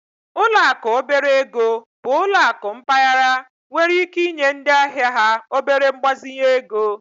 Ụlọ akụ obere ego bụ ụlọ akụ mpaghara nwere ike inye ndị ahịa ha obere mgbazinye ego